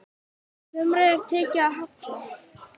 Sumri er tekið að halla.